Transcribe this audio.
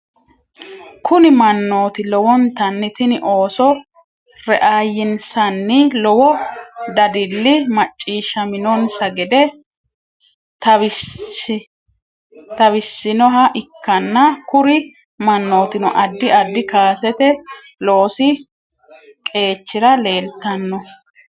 Kuri manoti lowonitanni tini ooso reayinsani lowo dadili machishaminonisa gede tawisinhoa ikana kuri manotino adid adid kasete loosi qechira lelitano